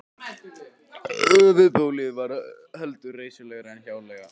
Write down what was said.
Höfuðbólið var heldur reisulegra en hjáleigan.